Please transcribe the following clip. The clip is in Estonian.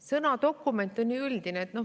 Sõna "dokument" on ju üldine.